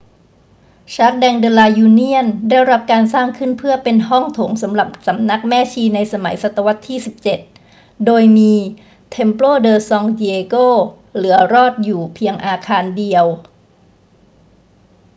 jardín de la unión ได้รับการสร้างขึ้นเพื่อเป็นห้องโถงสำหรับสำนักแม่ชีในสมัยศตวรรษที่ 17 โดยมี templo de san diego เหลือรอดอยู่เพียงอาคารเดียว